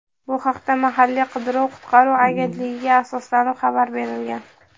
Bu haqda mahalliy qidiruv-qutqaruv agentligiga asoslanib xabar berilgan.